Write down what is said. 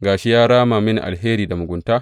Ga shi, ya rama mini alheri da mugunta.